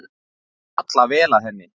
Falla vel að henni.